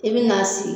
I bɛ n'a sigi